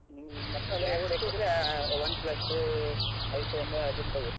OnePlus, iPhone ಅದನ್ನು ತಗೋ.